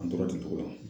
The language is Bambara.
An tora ten togo la